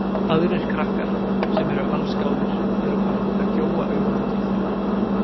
Aðrir krakkar, sem eru allsgáðir, eru farnir að gjóa augunum til þeirra.